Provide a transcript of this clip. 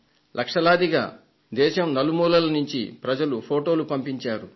లక్షలాదిగా దేశం నలుమూలలా నుంచి ప్రజలు ఫొటోలు పంపించారు